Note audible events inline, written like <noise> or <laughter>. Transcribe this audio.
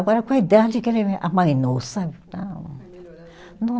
Agora com a idade que ele me amainou, sabe? <unintelligible>